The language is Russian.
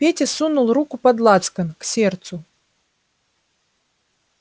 петя сунул руку под лацкан к сердцу